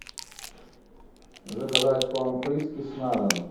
заказать корм фрискас на дом